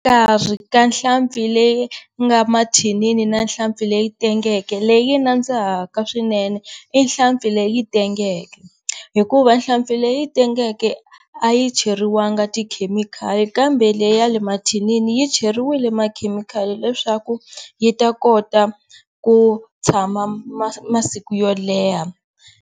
ka nhlampfi leyi nga mathinini na nhlampfi leyi tengeke leyi nandzihaka swinene i nhlampfi leyi tengeke hikuva nhlampfi leyi tengeke a yi cheriwanga tikhemikhali kambe leyi ya le mathinini yi cheriwilwe makhemikhali leswaku yi ta kota ku tshama masiku yo leha.